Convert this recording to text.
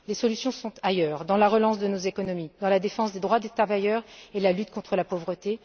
Les solutions sont ailleurs dans la relance de nos économies, dans la défense des droits des travailleurs et la lutte contre la pauvreté.